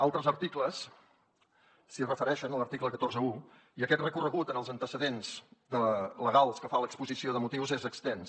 altres articles s’hi refereixen a l’article cent i quaranta un i aquest recorregut en els antecedents legals que fa l’exposició de motius és extens